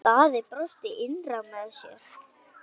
Daði brosti innra með sér.